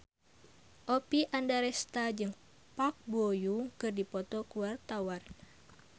Oppie Andaresta jeung Park Bo Yung keur dipoto ku wartawan